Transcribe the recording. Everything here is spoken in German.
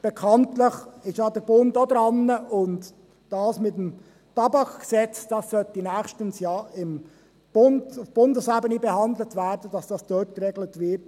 Der Bund ist auch dran, und das mit dem Tabakgesetz sollte nächstens ja auf Bundesebene behandelt werden, sodass es dort geregelt wird.